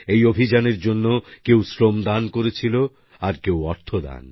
এই অভিযানের জন্য কেউ শ্রম দান করেছিল আর কেউ অর্থ দান